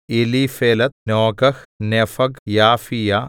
Eliphelet Nogah Nepheg Japhia